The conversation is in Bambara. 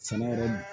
Sɛnɛ yɛrɛ